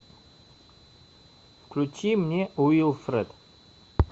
включи мне уилфред